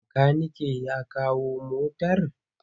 Makaniken ya kawo motar?